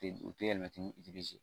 U tɛ yɛlɛmati ni